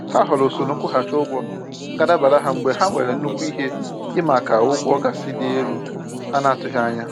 Ha họọrọ usoro nkwụghachị ụgwọ ga-adabara ha mgbe ha nwere nnukwu ihe ịmaaka ụgwọ gaasị dị elu ha n'atụghị anya.